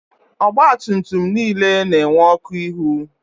Ọgba tum tum niile na-enwe ọkụ ihu.